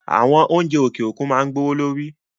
Àwọn oúnjẹ òkè òkun máa gbówó lórí